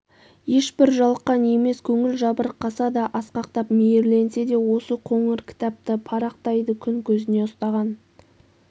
ешбір жалыққан емес көңіл жабырқаса да асқақтап мейірленсе де осы қоңыр кітапты парақтайды күн көзіне ұстаған